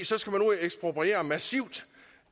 så skal man ud at ekspropriere massivt